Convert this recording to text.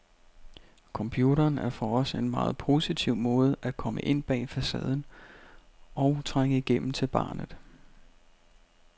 Computeren er for os en meget positiv måde at komme ind bag facaden, og trænge igennem til barnet.